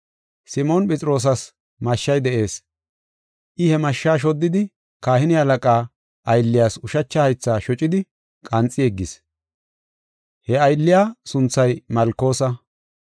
Simoon Phexroosas mashshay de7ees. I he mashsha shoddidi kahine halaqaa aylliyas ushacha haytha shocidi, qanxi yeggis. He aylliya sunthay Malkosa.